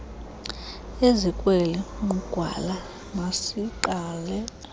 ezikweli nqugwala masiqale